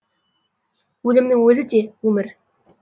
өлімнің өзі де өмір